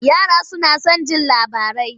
Yara suna son jin labarai.